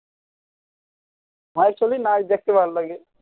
হয় নাচ দেখতে ভালো লাগে